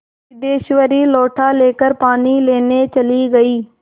सिद्धेश्वरी लोटा लेकर पानी लेने चली गई